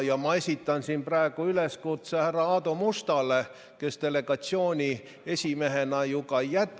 Ma esitan siin praegu üleskutse härra Aadu Mustale, kes delegatsiooni esimehena ju ka jätkab ...